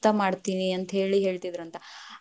ಮುಕ್ತ ಮಾಡತೇನಿ ಅಂತ ಹೇಳಿ ಹೇಳ್ತಿದ್ದರಂತ್.‌